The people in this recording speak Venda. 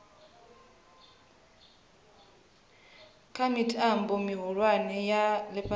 kha mitambo mihulwane ya ifhasi